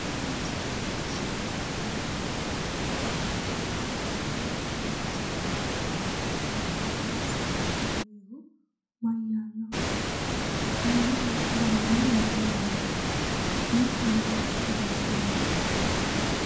Tini misile leellishshannohu politikaati, kuri mannu ofolte noori maa hasaabbay nooreeti? albansaanni gannoyihu mayyaannoho? Aanahono baandiiru mayiinnihu no? Insa mayiiraati ofolte noohu?